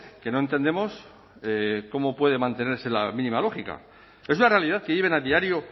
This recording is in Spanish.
que no entendemos cómo puede mantenerse la mínima lógica es una realidad que viven a diario